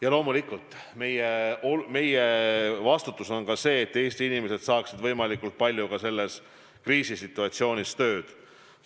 Ja loomulikult meie vastutada on ka see, et Eesti inimesed saaksid võimalikult palju selles kriisisituatsioonis tööd.